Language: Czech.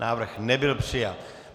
Návrh nebyl přijat.